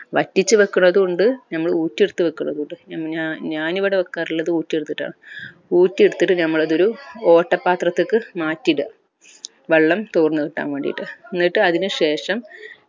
വറ്റിച്ചു വെക്കുന്നതും ഇണ്ട് നമ്മൾ ഊറ്റി എടുത്ത് വെക്കുന്നതും ഇണ്ട് ഞാന്പിന്ന ഞാൻ ഇവിടെ വെക്കാറുള്ളത് ഊറ്റി എടുത്തിട്ട ഊറ്റി എടുത്തിട്ട് നമ്മൾ അത് ഒരു ഓട്ടപാത്രത്തിലേക് മാറ്റിയിട വെള്ളം തുർന്ന് കിട്ടാൻ വേണ്ടീട്ട് എന്നിട്ട് അതിനുശേഷം